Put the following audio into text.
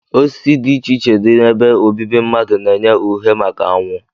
Osisi dị iche iche dị n'ebe obibi mmadụ na-enye uhe maka anwụ